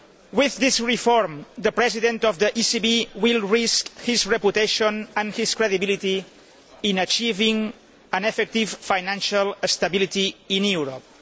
With this reform, the President of the ECB will risk his reputation and his credibility in achieving effective financial stability in Europe.